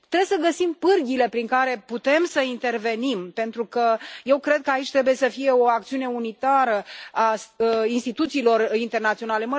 Trebuie să găsim pârghiile prin care putem să intervenim pentru că eu cred că aici trebuie să fie o acțiune unitară a instituțiilor internaționale.